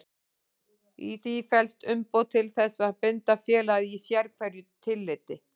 Í því felst umboð til þess að binda félagið í sérhverju tilliti.